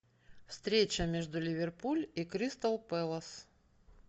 встреча между ливерпуль и кристал пэлас